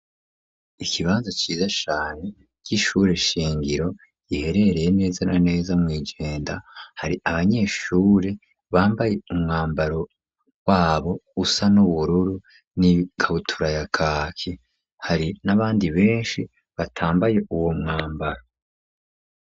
Ikibanza ciza cane c'ishure shingiro riherereye neza na neza mw'ijenda, hari abanyeshure bambaye umwambaro wabo usa n'ubururu n'ikabutura ya kaki. Hari n'abandi benshi batambaye uwo mwambaro.